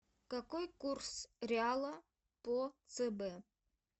какой курс реала по цб